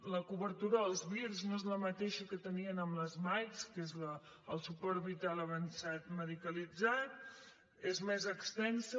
la cobertura dels vir no és la mateixa que teníem amb les mike que és el suport vital avançat medicalitzat és més extensa